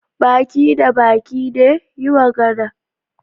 Ba ki da baki ne? yi magana